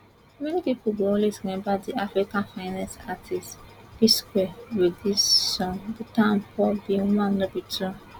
many pipo go always remember di africa finest artistes psquare wit dis song peter and paul be one no be two